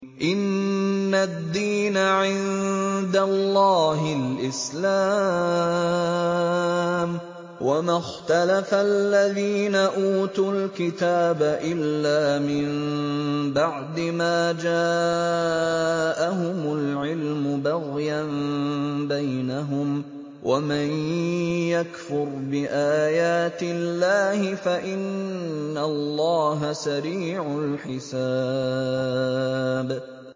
إِنَّ الدِّينَ عِندَ اللَّهِ الْإِسْلَامُ ۗ وَمَا اخْتَلَفَ الَّذِينَ أُوتُوا الْكِتَابَ إِلَّا مِن بَعْدِ مَا جَاءَهُمُ الْعِلْمُ بَغْيًا بَيْنَهُمْ ۗ وَمَن يَكْفُرْ بِآيَاتِ اللَّهِ فَإِنَّ اللَّهَ سَرِيعُ الْحِسَابِ